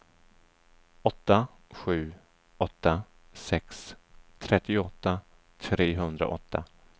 åtta sju åtta sex trettioåtta trehundraåtta